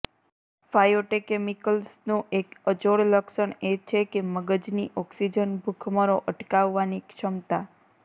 ફાયોટેકેમિકલ્સનું એક અજોડ લક્ષણ એ છે કે મગજની ઓક્સિજન ભૂખમરો અટકાવવાની ક્ષમતા